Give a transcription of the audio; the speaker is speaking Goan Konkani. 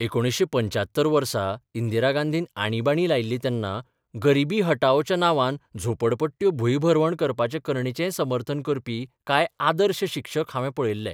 1975 वसा इंदिरा गांधीन आणिबाणी लायिल्ली तेन्ना 'गरिबी हटाओ'च्या नांवान झोपडपट्ट्यो भुंयभरवण करपाचे करणेचेंय समर्थन करपी कांय 'आदर्श 'शिक्षक हांवे पळयल्ले.